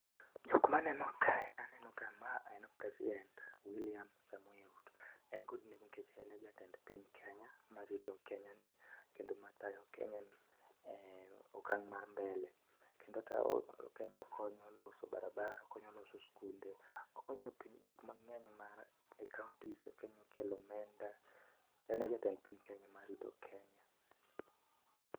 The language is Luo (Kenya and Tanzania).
Jok maneno kae aneno ka ma en President Wiliam Samoei Ruto. E kod nengo nikech en e jatend piny Kenya, marito Kenya ni kendo matayo Kenya e okang' ma mbele kendo okonyo loso barabara, oloso sikunde oloso gik mang'eny e kaontis, okonyo kelo omenda. En e jatend piny Kenya ma rito Kenya.